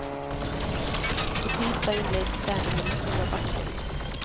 På tisdag inleds träningen i stora backen.